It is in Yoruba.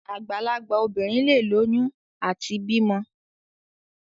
Àgbàlagbà obìnrin leè lóyún àti bímọ.